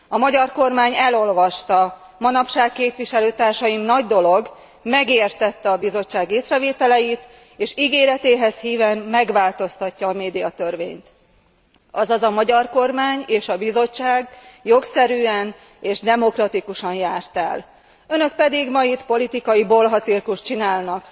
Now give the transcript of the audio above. A magyar kormány elolvasta manapság, képviselőtársaim, nagy dolog megértette a Bizottság észrevételeit, és ígéretéhez híven megváltoztatja a médiatörvényt, azaz a magyar kormány és a Bizottság jogszerűen és demokratikusan járt el, önök pedig itt ma politikai bolhacirkuszt csinálnak.